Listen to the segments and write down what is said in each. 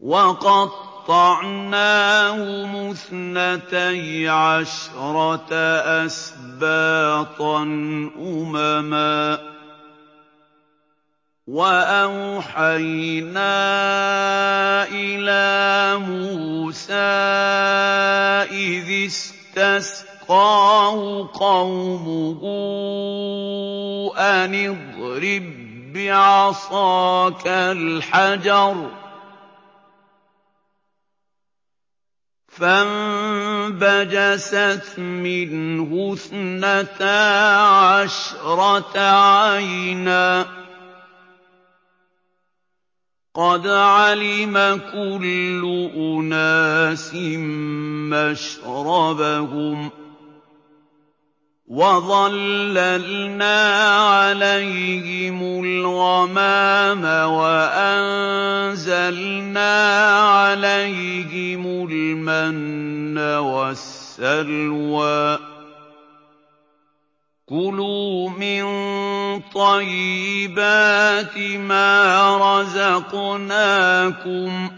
وَقَطَّعْنَاهُمُ اثْنَتَيْ عَشْرَةَ أَسْبَاطًا أُمَمًا ۚ وَأَوْحَيْنَا إِلَىٰ مُوسَىٰ إِذِ اسْتَسْقَاهُ قَوْمُهُ أَنِ اضْرِب بِّعَصَاكَ الْحَجَرَ ۖ فَانبَجَسَتْ مِنْهُ اثْنَتَا عَشْرَةَ عَيْنًا ۖ قَدْ عَلِمَ كُلُّ أُنَاسٍ مَّشْرَبَهُمْ ۚ وَظَلَّلْنَا عَلَيْهِمُ الْغَمَامَ وَأَنزَلْنَا عَلَيْهِمُ الْمَنَّ وَالسَّلْوَىٰ ۖ كُلُوا مِن طَيِّبَاتِ مَا رَزَقْنَاكُمْ ۚ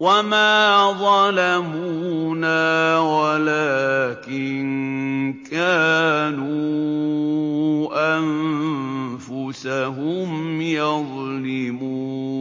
وَمَا ظَلَمُونَا وَلَٰكِن كَانُوا أَنفُسَهُمْ يَظْلِمُونَ